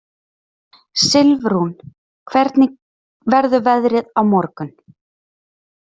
Silfrún, hvernig verður veðrið á morgun?